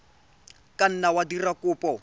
ka nna wa dira kopo